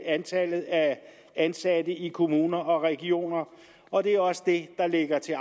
antallet af ansatte i kommuner og regioner og det er også det der ligger til